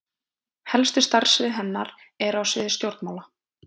helstu starfssvið hennar eru á sviði stjórnmála